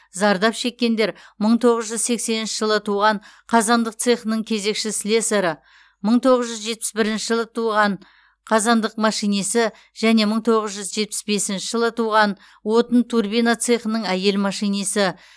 зардап шеккендер мың тоғыз жүз сексенінші жылы туған қазандық цехының кезекші слесары мың тоғыз жүз жетпіс бірінші жылы туған қазандық машинисі және мың тоғыз жүз жетпіс бесінші жылы туған отын турбина цехының әйел машинисі